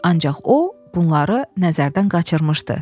Ancaq o bunları nəzərdən qaçırmışdı.